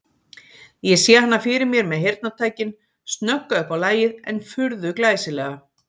Ég sé hana fyrir mér með heyrnartækin, snögga upp á lagið en furðu glæsilega.